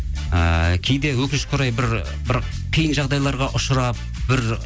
ыыы кейде өкінішке орай бір қиын жағдайларға ұшырап бір